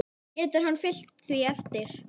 Getur hann fylgt því eftir?